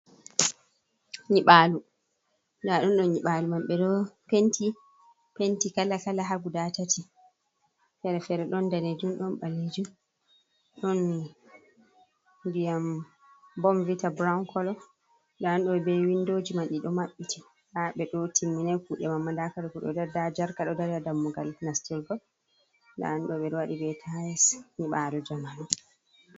Nɗa ɗum ɗo nyiɓaalu man ɓe ɗo penti penti kala kala ha guda tati fere-fere, ɗon danejum ɗon ɓalejum ɗon ndiyam bomvitta brawun kolo, nda ɗum ɗo be windoji ma ɗiɗo maɓɓiti, ha ɓe ɗo timminai kuuɗe mamma nda kare kuuɗe nda jarka ɗo dari ha dammugal nastirgo nda ɗum ɓe ɗo waɗi be tais nyiɓalu jamanu.